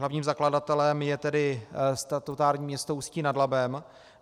Hlavním zakladatelem je tedy statutární město Ústí nad Labem.